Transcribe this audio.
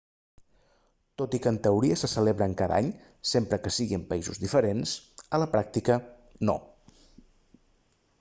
tot i que en teoria se celebren cada any sempre que sigui en països diferents a la pràctica no